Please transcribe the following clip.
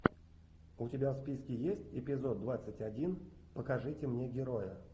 у тебя в списке есть эпизод двадцать один покажите мне героя